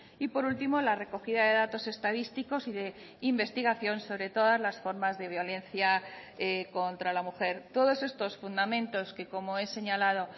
y por último la recogida de datos estadísticos y de investigación sobre todas las formas de violencia contra la mujer todos estos fundamentos que como he señalado